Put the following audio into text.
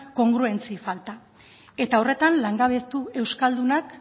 kongruentzia falta eta horretan langabetu euskaldunak